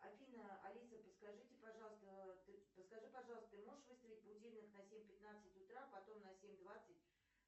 афина алиса подскажите пожалуйста подскажи пожалуйста ты можешь выставить будильник на семь пятнадцать утра потом на семь двадцать